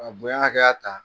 Ka bonya hakɛya ta